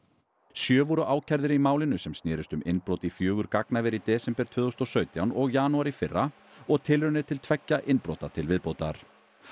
sjö voru ákærðir í málinu sem snerist um innbrot í fjögur gagnaver í desember tvö þúsund og sautján og janúar í fyrra og tilraunir til tveggja innbrota til viðbótar